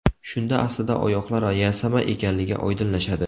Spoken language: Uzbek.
Shunda aslida oyoqlar yasama ekanligi oydinlashadi.